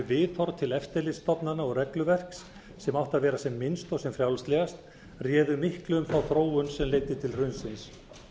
þau viðhorf til eftirlitsstofnana og regluverks sem átti að vera sem minnst og sem frjálslegast réði miklu um þá þróun sem leiddi til hrunsins